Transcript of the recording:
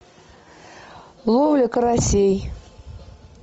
ловля карасей